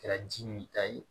Kɛra ji min ta ye